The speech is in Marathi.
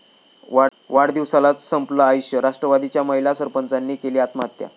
वाढदिवसालाच संपलं आयुष्य, राष्ट्रवादीच्या महिला सरपंचाने केली आत्महत्या